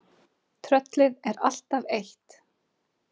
Tröllið er alltaf eitt.